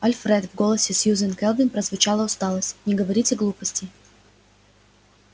альфред в голосе сьюзен кэлвин прозвучала усталость не говорите глупостей